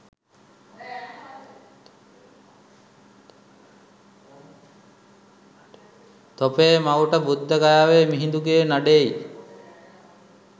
තෝපේ මවුට බුද්ධ ගයාවේ මිහිඳුගේ නඩේයි